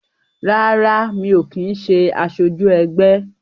Rárá, mi ò kin ṣé asoju ẹgbẹ́